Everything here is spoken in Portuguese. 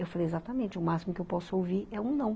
Eu falei, exatamente, o máximo que eu posso ouvir é um não.